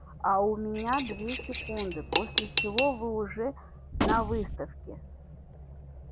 а у меня две секунды после чего вы уже на выставке